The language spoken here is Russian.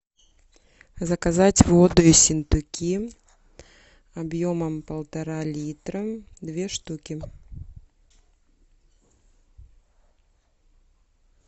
заказать воду ессентуки объемом полтора литра две штуки